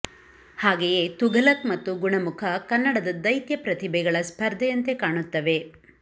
ಹಾಗೆಯೇ ತುಘಲಕ್ ಮತ್ತು ಗುಣಮುಖ ಕನ್ನಡದ ದೈತ್ಯ ಪ್ರತಿಭೆಗಳ ಸ್ಪರ್ಧೆಯಂತೆ ಕಾಣುತ್ತವೆ